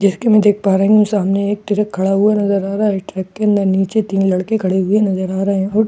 जैसे की मैं देख पा रहा हूँ सामने एक टिरक खड़ा हुआ नजर आ रहा हैं ट्रैक अंदर नीचे तीन लड़के खड़े हुए नजर आ रहें और--